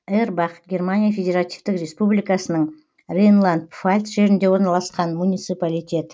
эрбах германия федеративтік республикасының рейнланд пфальц жерінде орналасқан муниципалитет